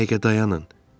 Bir dəqiqə dayanın.